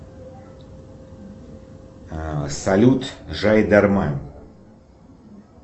салют жайдарман